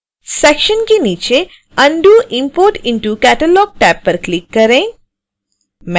section के नीचे undo import into catalog tab पर क्लिक करें